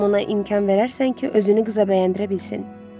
Ümidvaram ona imkan verərsən ki, özünü qıza bəyəndirə bilsin.